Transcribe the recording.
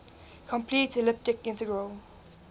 complete elliptic integral